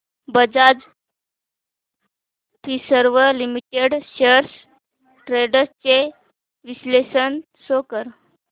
Bajaj Finserv limited shares trends चे विश्लेषण show कर